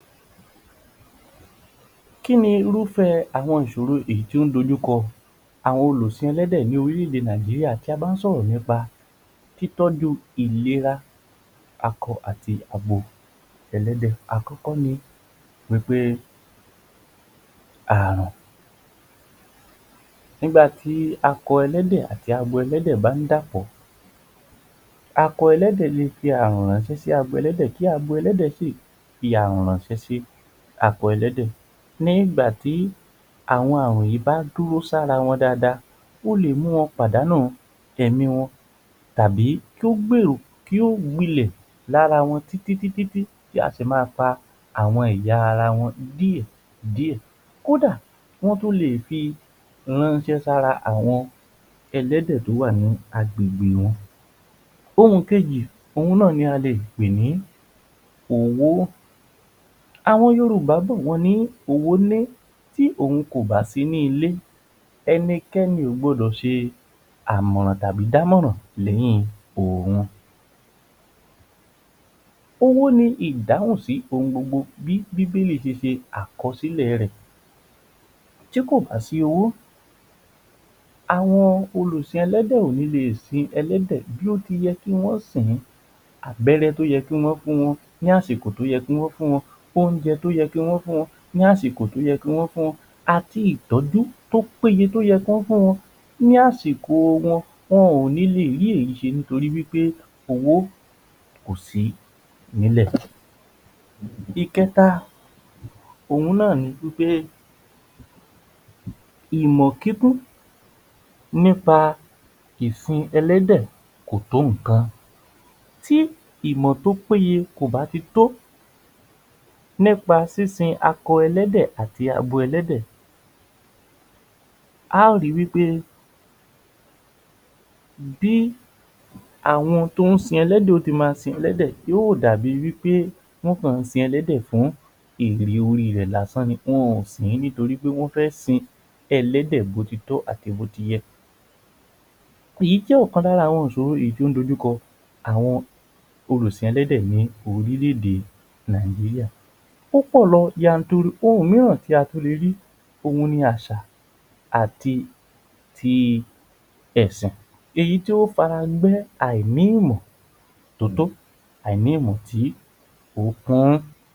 Kí ni irúfẹ́ àwọn ìṣòro èyí tí ó ń dójú kò àwọn olùsìn ẹlẹ́dẹ̀ ni orílé-èdè Nàìjíríà ti a ba n sọ̀rọ̀ nípa títọ́jú ìléra akọ àti abo ẹlẹ́dẹ̀. Àkọ́kọ́ ni pé àrùn nígbà tí akọ ẹlẹ́dẹ̀ àti abo ẹlẹ́dẹ̀ bá ń dàpọ̀. Akọ ẹlẹ́dẹ̀ lè fi àrùn ránsẹ́ sí abo ẹlẹ́dẹ̀, kí abo ẹlẹ́dẹ̀ náà fi àrùn ránsẹ́ sí akọ ẹlẹ́dẹ̀ nígbà tí àwọn àrùn yìí bá dúró sí ara wọn dada, ó lè mú wọn pàdánù ẹ̀mí wọn tàbí kí ó gbilẹ̀ lára wọn títí tí á sì ma fa awom ẹ̀yà-ara wọn díẹ̀ díẹ̀, kódà kí wọ́n tó lè fi ránsẹ́ sí àwọn ẹlẹ́dẹ̀ tí ó wà nínú agbègbè wọn. Ohun kejì náà ni a lè pè ní owó, àwọn Yorùbá bọ̀ wọ́n ní "owó ní tí òhun kò bá sí ní ilé, ẹnikẹ́ni kò gbọdọ̀ ṣe àmọ̀ràn tàbí dámọ̀ràn lẹ́yìn òhun. Owó ni ìdáhùn sí ohun gbogbo bí Bíbélì ṣe ṣe àkọsílẹ̀ rẹ̀. Tí kò bá sí owó, àwọn olùsìn ẹlẹ́dẹ̀ kò ni lè sin ẹlẹ́dẹ̀ bí ó ti yẹ kí wọ́n sìn-ín abẹ́rẹ́ tí ó yẹ kí wọ́n fún wọn ní àsìkò tí ó yẹ kí wọ́n fún wọn, oúnjẹ tí ó yẹ kí wọ́n fún wọn fún àsìkò tí ó yẹ kí wọ́n fún wọn àti ìtọ́jú tí ó péye kí wọ́n fu wọn ní àsìkò wọn, wọn ò ní lè rí èyí ṣe nítorí wí pé owó kó sí nílẹ̀. Ìkẹ́ta náà ni wí pé ìmọ̀ kíkún nípa ìsin ẹlẹ́dẹ̀ kò tó nǹkan, tí ìmọ̀ tí ó péye kò bá ti tó nípa sísin akọ ẹlẹ́dẹ̀ àti abo ẹlẹ́dẹ̀ a ò ri wí pé bí àwọn tí ó sin ẹlẹ́dẹ̀ bó ó ti ma sin ẹlẹ́dẹ̀ yóò dà bí wí pé wọ́n kọ̀ sin ẹlẹ́dẹ̀ fún èrè orí rẹ̀ lásán ni wọn ò sìn nítorí pé wọ́n fẹ́ sìn-ín ẹlẹ́dẹ̀ bí ó ti tọ́ àti bí ó ti yẹ, èyí jẹ́ ọ̀kan lára àwọn ìṣòro yìí tí ó ń dojú kọ àwọn olùsìn ẹlẹ́dẹ̀ ní orílé-ède Nàìjíríà, ó pọ̀ lọ janturu. Ohun mìíràn tí a tún le rí òhun ni àṣà àti ti ẹ̀sàn, èyí tí ó fara gbé àìní ìmọ̀ tí ó tó, àìní ìmọ̀ tí ó kún.